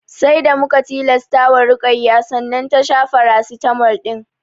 Sai da muka tilasta wa Ruƙayya sannan ta sha farasitamol ɗin